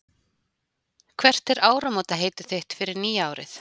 Hvert er áramótaheitið þitt fyrir nýja árið?